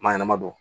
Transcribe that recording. Maa ɲanama don